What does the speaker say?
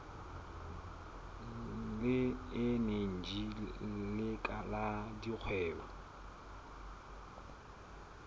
le eneji le la dikgwebo